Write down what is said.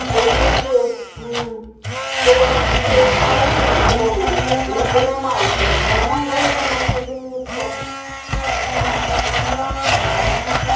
заявил мм что он и её и пальцем не тронул и не понимает почему он должен на ней жениться